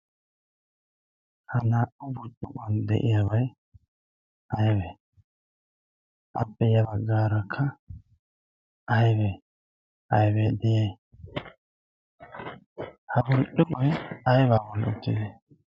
Ha naa"u burccukkuwan de"iyabayi aybee? Apoe ya baggaarakka aybee aybee de"iyayi? Ha burccukkoyi aybaa bolli uttidee?